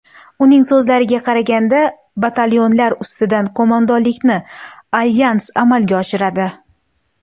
Uning so‘zlariga qaraganda, batalyonlar ustidan qo‘mondonlikni alyans amalga oshiradi.